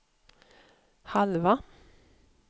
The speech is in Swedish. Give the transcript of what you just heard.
halva